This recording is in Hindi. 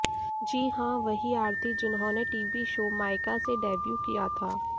जी हां वहीं आरती जिन्होंने टीवी शो मायका से डेब्यू किया था